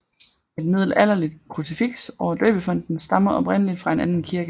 Et middelalderligt krucifiks over døbefonten stammer oprindelig fra en anden kirke